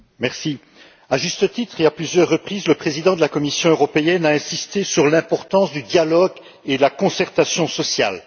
Madame la Présidente, à juste titre et à plusieurs reprises, le président de la Commission européenne a insisté sur l'importance du dialogue et de la concertation sociale.